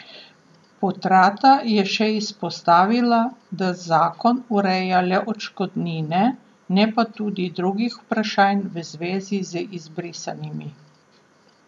Potrata je še izpostavila, da zakon ureja le odškodnine, ne pa tudi drugih vprašanj v zvezi z izbrisanimi.